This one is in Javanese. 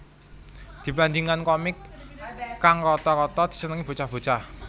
Dibanding komik kang rata rata disenengi bocah bocah